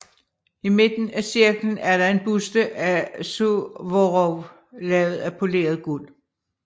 I midten af cirklen er der en buste af Suvorov lavet af poleret guld